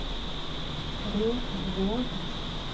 Repvåg